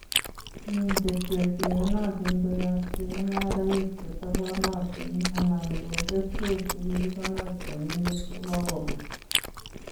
Min keswek cheiyonotin koyob chemung'araik chetobonotin anan ko keswek chekikonor teminendet kokobut.